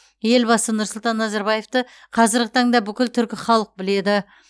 елбасы нұрсұлтан назарбаевты қазіргі таңда бүкіл түркі халық біледі